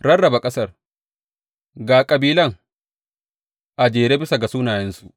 Rarraba ƙasar Ga kabilan, a jere bisa ga sunayensu.